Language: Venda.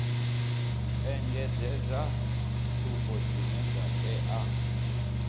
engedzedza tsumbo dzine dza tea